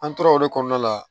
An tora o de kɔnɔna la